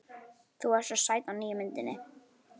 Þú ert svo sæt á nýju myndinni.